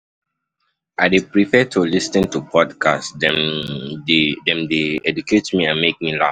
I dey prefer to lis ten to podcasts, dem dey dem dey educate me and make me laugh.